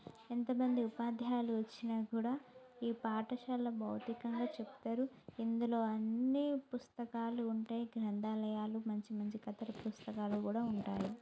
ఎంతమంది ఉపాధ్యాయులు వచ్చినా కూడా ఈ పాఠశాల బోధికలు చెపుతారు ఇందులో ఆన్ని పుస్తకాలు ఉంటాయి గ్రంథాలయాలు మంచి మంచి కథల పుస్తకాలు కూడా ఉంటాయి.